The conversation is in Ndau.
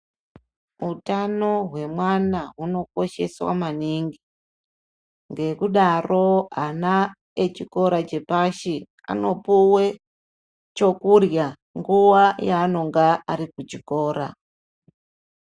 Utano hwemwana unokosheswa maningi ngekudaro ana echikora chepashi anopuwa chekurya nguva yavanenge vari kuchikora.